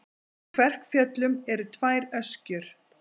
Í Kverkfjöllum eru tvær öskjur.